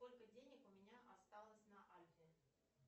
сколько денег у меня осталось на альфе